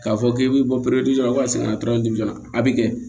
K'a fɔ k'e bɛ bɔ la na a bɛ kɛ